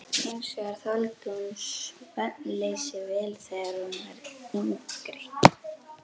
Hins vegar þoldi hún svefnleysi vel þegar hún var yngri.